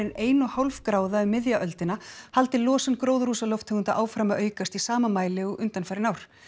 en ein og hálf gráða um miðja öldina haldi losun gróðurhúsalofttegunda áfram að aukast í sama mæli og undanfarin ár